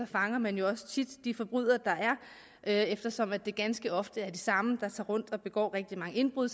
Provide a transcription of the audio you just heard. fanger man jo også tit de forbrydere der er eftersom det ganske ofte er de samme der tager rundt og begår rigtig mange indbrud